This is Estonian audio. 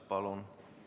Palun!